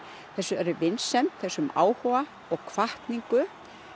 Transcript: þessari vinsemd þessum áhuga og hvatningu